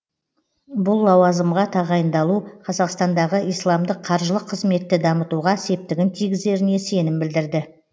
бұл лауазымға тағайындалу қазақстандағы исламдық қаржылық қызметті дамытуға септігін тигізеріне сенім білдірді